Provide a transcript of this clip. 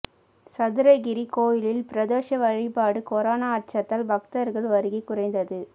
சதுரகிரி கோயிலில் பிரதோஷ வழிபாடு கொரோனா அச்சத்தால் பக்தர்கள் வருகை குறைந்தது